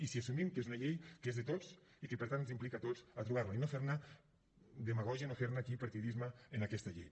i si assumim que és una llei que és de tots i que per tant ens implica a tots a trobar la i no fer ne demagògia no fer aquí partidisme en aquesta llei